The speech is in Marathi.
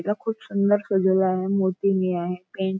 हिला खूप सुंदर सजवल आहे मूर्ती हि आहे पेंट --